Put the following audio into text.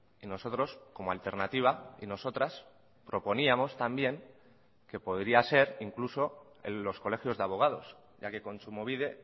y nosotros como alternativa y nosotras proponíamos también que podría ser incluso en los colegios de abogados ya que kontsumobide